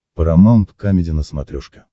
парамаунт камеди на смотрешке